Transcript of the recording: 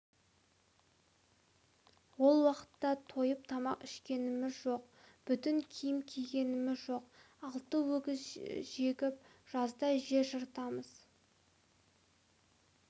ол уақытта тойып тамақ ішкеніміз жоқ бүтін киім кигеніміз жоқ алты өгіз жегіп жазда жер жыртамыз